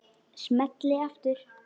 Smelli aftur.